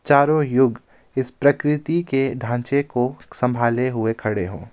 चारों युग इस प्रकृति के ढांचे को संभाले हुए खड़े हों।